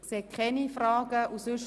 – Es scheint keine Fragen zu geben.